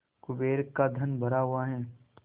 कुबेर का धन भरा हुआ है